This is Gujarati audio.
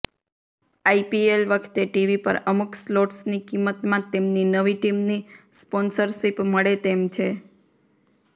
આઇપીએલ વખતે ટીવી પર અમુક સ્લોટ્સની કિંમતમાં તેમની નવી ટીમની સ્પોન્સરશિપ મળે તેમ છે